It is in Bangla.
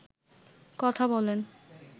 কথা বলেন